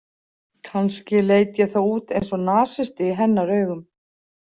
Kannski leit ég þá út eins og nasisti í hennar augum.